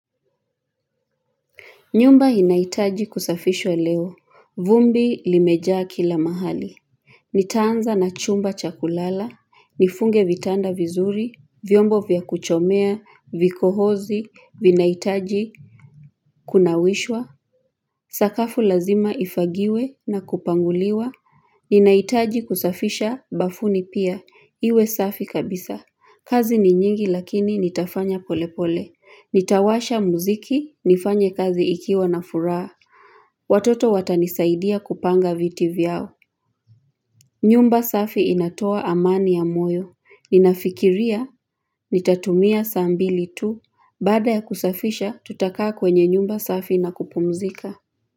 Nyumba inaitaji kusafishwa leo, vumbi limejaa kila mahali Nitaanza na chumba cha kulala, nifunge vitanda vizuri, vyombo vya kuchomea, vikohozi, vinaitaji Kunawishwa, sakafu lazima ifagiwe na kupanguliwa Ninaitaji kusafisha bafuni pia, iwe safi kabisa kazi ni nyingi lakini nitafanya pole pole Nitawasha muziki, nifanye kazi ikiwa na furaha Watoto watanisaidia kupanga viti vyao nyumba safi inatoa amani ya moyo Ninafikiria, nitatumia saa mbili tu Baada ya kusafisha, tutakaa kwenye nyumba safi na kupumzika.